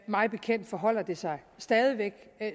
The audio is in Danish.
mig bekendt forholder det sig stadig væk